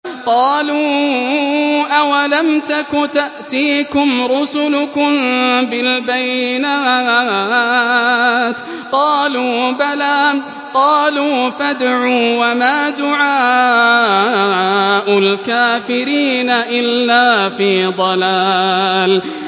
قَالُوا أَوَلَمْ تَكُ تَأْتِيكُمْ رُسُلُكُم بِالْبَيِّنَاتِ ۖ قَالُوا بَلَىٰ ۚ قَالُوا فَادْعُوا ۗ وَمَا دُعَاءُ الْكَافِرِينَ إِلَّا فِي ضَلَالٍ